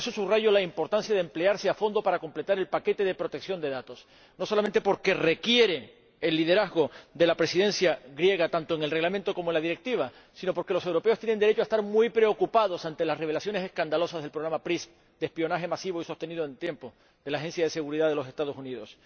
Y por eso subrayo la importancia de emplearse a fondo para completar el paquete de protección de datos, no solamente porque requiere el liderazgo de la Presidencia griega —tanto para el reglamento como para la directiva—, sino porque los europeos tienen derecho a estar muy preocupados ante las revelaciones escandalosas del programa PRISM de espionaje masivo y sostenido en el tiempo de la Agencia de Seguridad Nacional de los Estados Unidos.